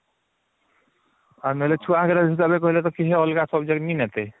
ଆମର ଛୁଆଙ୍କର ଯଦି ଅଲଗା ଅଲଗା subject ନି ନାତେ